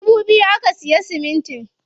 Dubu biyu aka siya siminti.